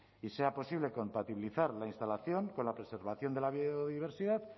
y sea posible compatibilizar la instalación con la preservación de la biodiversidad